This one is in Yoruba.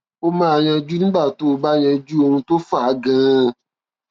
ó máa yanjú nígbà tó o bá yanjú ohun tó fà á ganan